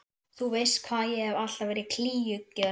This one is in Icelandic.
Þú veist hvað ég hef alltaf verið klígjugjörn.